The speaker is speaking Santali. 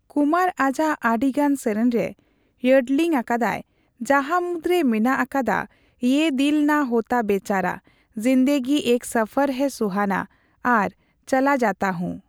ᱠᱩᱢᱟᱨ ᱟᱡᱟᱜ ᱟᱹᱰᱤᱜᱟᱱ ᱥᱮᱨᱮᱧ ᱨᱮ ᱤᱭᱳᱰᱞᱤᱝ ᱟᱠᱟᱫᱟᱭ, ᱡᱟᱦᱟ ᱢᱩᱫᱨᱮ ᱢᱮᱱᱟᱜ ᱟᱠᱟᱫᱟ 'ᱤᱭᱮ ᱫᱤᱞ ᱱᱟ ᱦᱳᱛᱟ ᱵᱮᱪᱟᱨᱟ, ᱡᱤᱱᱫᱮᱜᱤ ᱮᱠ ᱥᱚᱯᱷᱚᱨ ᱦᱮᱭ ᱥᱩᱦᱟᱱᱟ, ᱟᱨ ᱪᱚᱞᱟ ᱡᱟᱛᱟ ᱦᱩ" ᱾